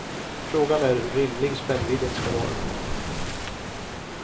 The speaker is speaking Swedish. Frågan är hur rimlig spännvidden ska vara.